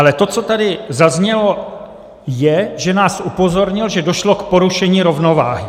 Ale to, co tady zaznělo, je, že nás upozornil, že došlo k porušení rovnováhy.